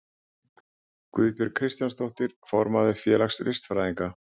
Guðbjörg Kristjánsdóttir, formaður félags listfræðinga.